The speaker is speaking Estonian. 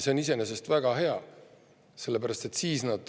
See on iseenesest väga hea.